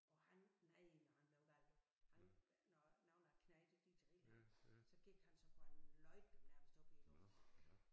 Og han nej når han blev gal du han når nogle af æ knægte de drillede ham så gik han så kunne han løfte dem nærmest op i æ luft